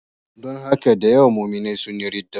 Don haka da yawa muminai sun yi ridda.